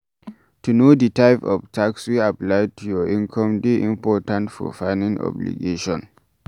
To know di type of tax wey apply to your income dey important for filimg obligation